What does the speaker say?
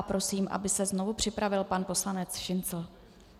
A prosím, aby se znovu připravil pan poslanec Šincl.